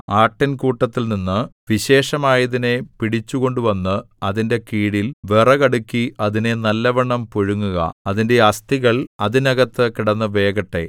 ആട്ടിൻകൂട്ടത്തിൽനിന്ന് വിശേഷമായതിനെ പിടിച്ചുകൊണ്ടുവന്ന് അതിന്റെ കീഴിൽ വിറകടുക്കി അതിനെ നല്ലവണ്ണം പുഴുങ്ങുക അതിന്റെ അസ്ഥികൾ അതിനകത്ത് കിടന്ന് വേകട്ടെ